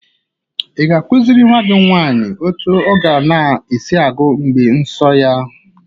Ị ga-akụziri nwa gị nwaanyị otu ọ ga na-esi agu mgbe nsọ ya?